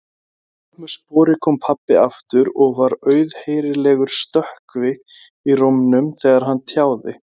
Að vörmu spori kom pabbi aftur og var auðheyrilegur stökkvi í rómnum þegar hann tjáði